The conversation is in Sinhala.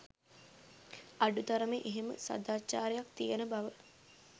අඩුතරමෙ එහෙම සදාචාරයක් තියන බව